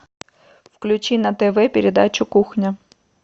включи на тв передачу кухня